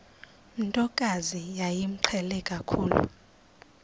ntokazi yayimqhele kakhulu